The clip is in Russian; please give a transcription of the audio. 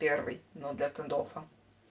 первый ну для стандоффа